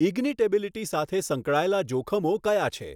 Ignitability સાથે સંકળાયેલ જોખમો કયા છે?